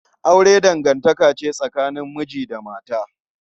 Aure dangantaka ce tsakanin miji da mata.